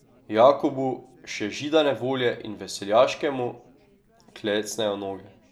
Jakobu, še židane volje in veseljaškemu, klecnejo noge.